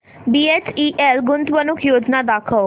BHEL गुंतवणूक योजना दाखव